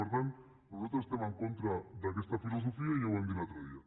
per tant nosaltres estem en contra d’aquesta filosofia i ja ho vam dir l’altre dia